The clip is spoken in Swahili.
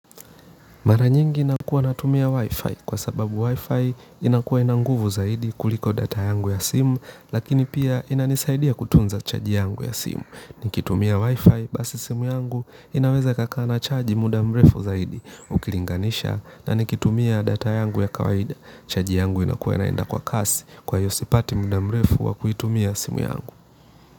Mara nyingi nakuwa natumia Wi-Fi kwa sababu Wi-Fi inakuwa ina nguvu zaidi kuliko data yangu ya simu lakini pia inanisaidia kutunza charge yangu ya simu. Nikitumia Wi-Fi basi simu yangu inaweza ikakaa na chaji muda mrefu zaidi ukilinganisha na nikitumia data yangu ya kawaida, chaji yangu inakua inaenda kwa kasi, kwa hiyo sipati muda mrefu wa kuitumia simu yangu.